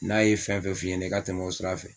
N'a ye fɛn fɛn f'i ɲɛna i ka tɛmɛ o sira fɛ